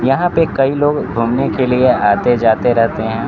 यहां पे कई लोग घूमने के लिए आते जाते रहते हैं।